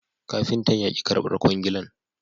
Kafintan ya ki karbar kwangilan